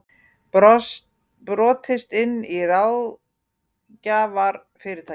Brotist inn í ráðgjafarfyrirtæki